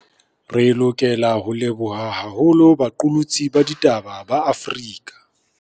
Re lokela ho leboha haholo baqolotsi ba ditaba ba Afrika.